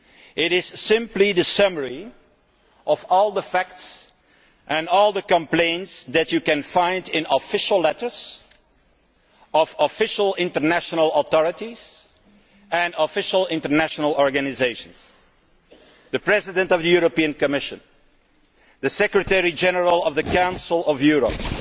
It is simply the summary of all the facts and all the complaints that you can find in official letters from official international authorities and official international organisations the President of the Commission, the Secretary General of the Council of Europe,